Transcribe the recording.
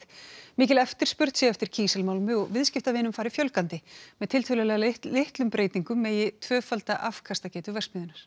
mikil eftirspurn sé eftir kísilmálmi og viðskiptavinum fari fjölgandi með tiltölulega litlum breytingum megi tvöfalda afkastagetu verksmiðjunnar